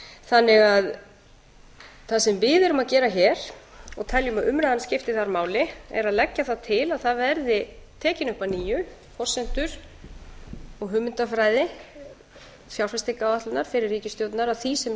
þannig að það sem við erum að gera hér og teljum að umræðan skipti þar máli er að leggja það til að það verði teknar upp að nýju forsendur og hugmyndafræði fjárfestingaráætlunar fyrri ríkisstjórnar að því sem